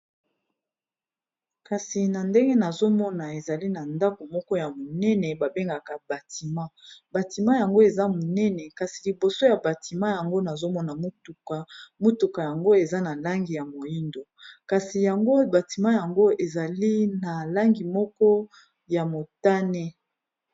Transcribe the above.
kasi na ndenge nazomona ezali na ndako moko ya monene babengaka batima. batima yango eza monene kasi liboso ya batima yango nazomona motuka motuka yango eza na langi ya moindo kasi yango batima yango ezali na langi moko ya motane